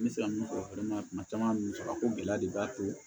N bɛ se ka min fɔ fɛnɛ kuma caman musaka ko gɛlɛya de b'a to